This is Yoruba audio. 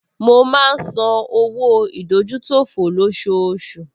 Mo máa ń san owó ìdójútòfò lọ́ṣooṣù